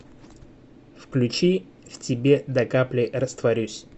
включи в тебе до капли растворюсь